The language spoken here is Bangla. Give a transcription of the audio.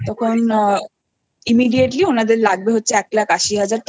লাগবে ওদের তখন এক লক্ষ আশি হাজার টাকা